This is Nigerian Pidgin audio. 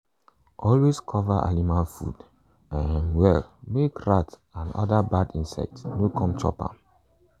always cover animal food um well make rat and other bad insects no come chop am.